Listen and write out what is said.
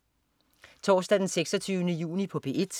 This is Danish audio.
Torsdag den 26. juni - P1: